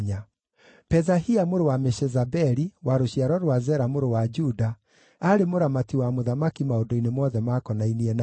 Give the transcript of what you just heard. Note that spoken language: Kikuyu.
Pethahia mũrũ wa Meshezabeli, wa rũciaro rwa Zera mũrũ wa Juda, aarĩ mũramati wa mũthamaki maũndũ-inĩ mothe makonainie na andũ.